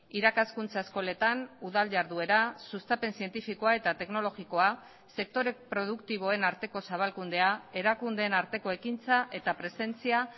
irakaskuntza eskoletan udal jarduera sustapen zientifikoa eta teknologikoa sektore produktiboen arteko zabalkundea erakundeen arteko ekintza eta presentzia